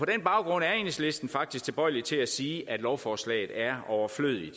baggrund er enhedslisten faktisk tilbøjelig til at sige at lovforslaget er overflødigt